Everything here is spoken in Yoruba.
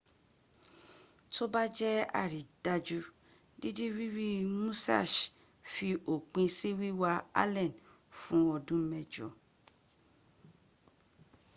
tó bá jẹ àrídájú dídi rírí musassh fi òpin sí wíwá allen fún ọdún mẹ́jọ